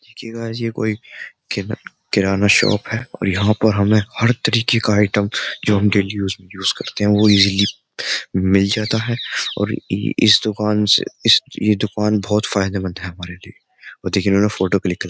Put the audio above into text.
देखिए गाइस ये कोई किराना शॉप है और यहां पर हमें हर तरीके का आइटम जो हम डेली यूज यूज करते हैं वो इजली मिल जाता है और इस दुकान से इस ये दुकान बहुत फायदेमंद है हमारे लिए और देखिए इन्होंने फोटो क्लिक --